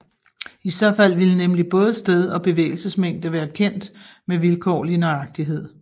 I så fald ville nemlig både sted og bevægelsesmængde være kendt med vilkårlig nøjagtighed